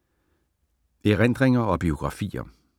Erindringer og biografier